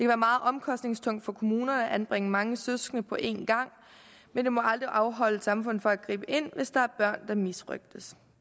være meget omkostningstungt for kommunerne at anbringe mange søskende på én gang men det må aldrig afholde samfundet fra at gribe ind hvis der er børn der misrøgtes